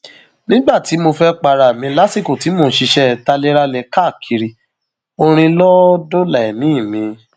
nígbà tí mo fẹẹ para mi lásìkò tí mò ń ṣiṣẹ talérálẹ káàkiri orin lọ dóòlà ẹmí mi